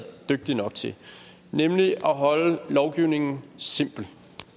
dygtige nok til nemlig at holde lovgivningen simpel